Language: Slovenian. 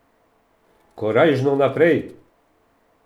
Korajžno naprej!